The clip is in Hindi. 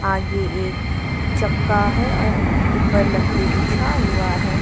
आगे एक चक्का है और ऊपर लकड़ी बिछा हुआ है।